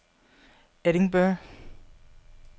Edinburgh